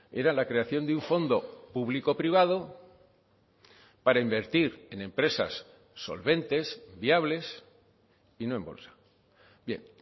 era la creación de un fondo público privado para invertir en empresas solventes viables y no en bolsa bien